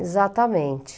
Exatamente.